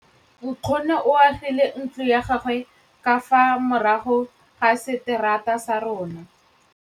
Nkgonne o agile ntlo ya gagwe ka fa morago ga seterata sa rona.